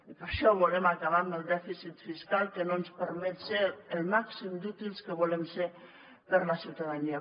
i per això volem acabar amb el dèficit fiscal que no ens permet ser el màxim d’útils que volem ser per a la ciutadania